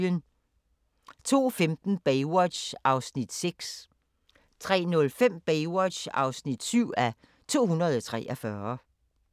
02:15: Baywatch (6:243) 03:05: Baywatch (7:243)